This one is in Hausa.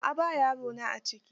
A'a ba yarona a ciki.